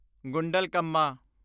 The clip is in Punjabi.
ਗੁੰਡਲਕੰਮਾ